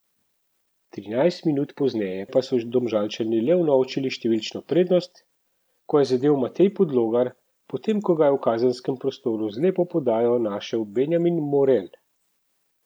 Trinajst minut pozneje pa so Domžalčani le unovčili številčno prednost, ko je zadel Matej Podlogar, potem ko ga je v kazenskem prostoru z lepo podajo našel Benjamin Morel.